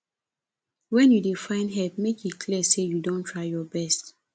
wen you dey find help make e clear sey you don try your best